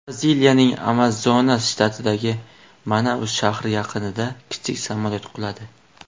Braziliyaning Amazonas shtatidagi Manaus shahri yaqinida kichik samolyot quladi.